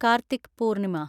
Karthik Purnima